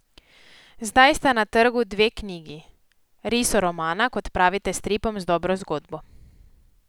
Zdaj sta na trgu dve knjigi, risoromana, kot pravite stripom z dobro zgodbo.